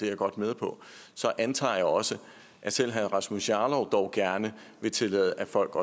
jeg godt med på så antager jeg også at selv herre rasmus jarlov dog gerne vil tillade at folk